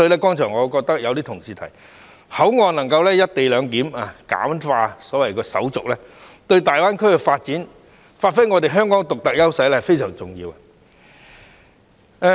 剛才也有同事提到，口岸能夠"一地兩檢"，簡化手續，對大灣區的發展及發揮香港的獨特優勢非常重要。